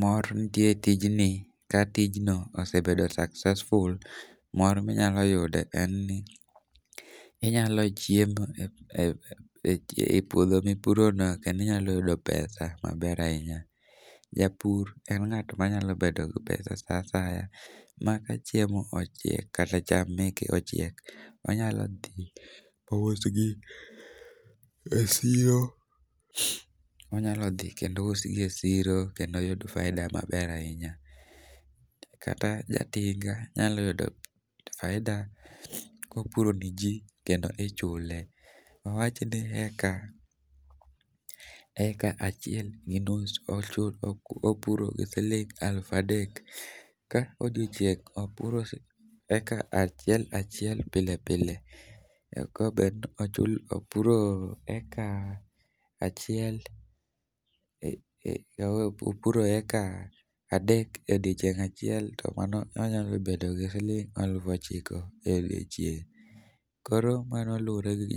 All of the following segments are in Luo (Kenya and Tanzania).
Mor nitie e tijni ka tijno ose bedo successful. Mor ma inyalo yudo en ni inyalo chiemo e puodho mipurono kendo inyalo yudo pesa maber ahinya. Japur en ng'at manyalo bedo gi pesa saa asaya maka chiemo ochiek kata cham meke ochiek, onyalo dhi ousgi e siro kendo oyud faida maber ahinya. Kata jatinga nyalo yudo faida kopuro niji kendo ichule, awach ni eka achiel gi nus opuro gi siling' elufu adek. Ka odiechieng' opuro eka achiel achiel pile pile, eka bed ni opuro eka achiel opuro eka adek e odiechieng' achiel to mano onyalo bedo gi siling' eluf ochiko e odiechieng' koro mano luwore gi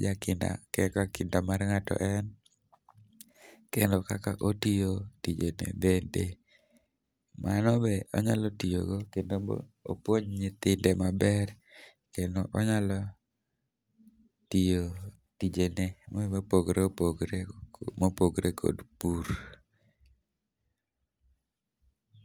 kaka kinda mar ng'ato en kend kaka itiyo tijene bende. Koro mano be onyalo tiyogo kendo be opuonj nyithinde maber, onyalo tijene mopogore opogore, mopogore kod pur.